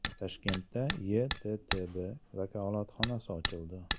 Toshkentda YeTTB vakolatxonasi ochildi.